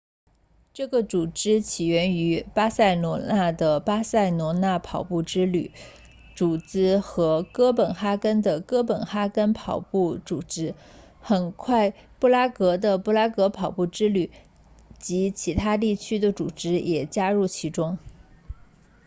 这个组织起源于巴塞罗那的巴塞罗那跑步之旅 ”running tours barcelona 组织和哥本哈根的哥本哈根跑步 ”running copenhagen 组织很快布拉格的布拉格跑步之旅” running tours prague 及其他地区的组织也加入其中